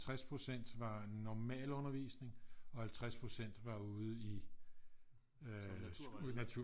60% var normal undervisning og 50% var ude i øh natur